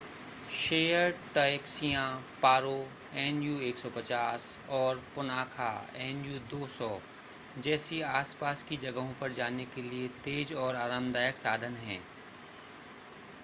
shared टैक्सियाँ Paro nu 150 और Punakha nu 200 जैसी आस-पास की जगहों पर जाने के लिए तेज़ और आरामदायक साधन हैं